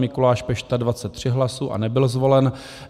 Mikuláš Pešta 23 hlasů a nebyl zvolen.